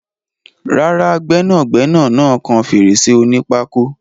Rárá, gbẹ́nàgbẹnà náà kan fèrèsé onípákó.